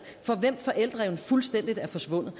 for hvem forældreevnen fuldstændig er forsvundet